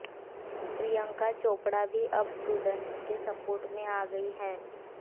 प्रियंका चोपड़ा भी अब स्टूडेंट्स के सपोर्ट में आ गई हैं